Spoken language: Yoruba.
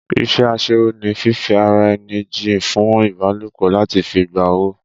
Ìṣe asẹ́wó ni fífi ara ẹni jìn fún ìbálòpọ̀ láti fi gba owó